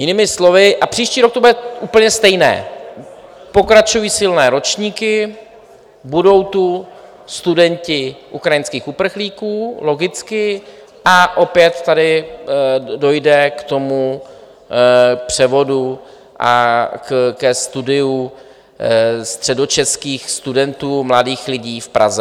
Jinými slovy: a příští rok to bude úplně stejné, pokračují silné ročníky, budou tu studenti ukrajinských uprchlíků logicky a opět tady dojde k tomu převodu a ke studiu středočeských studentů mladých lidí v Praze.